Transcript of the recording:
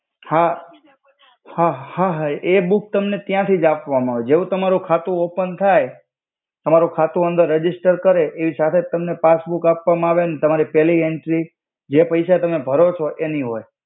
હા હા હા હા એ બુક તમને ત્યથિ જ આપ્વામા આવે જેવુ તમારુ ખાતુ ઓપેન થાય તમારુ ખાતુ અંદર રજિસ્ટર કરે એ સાથે જ તમને પાસ્બુક આપ્વામા આવે અન તમારિ પેલિ એંટ્રિ જે પૈસા તમે ભરો છો તેનિ હોય.